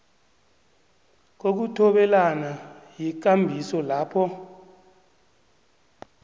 kokuthobelana yikambiso lapho